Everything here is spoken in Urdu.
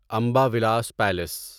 امبا ولاس پیلیس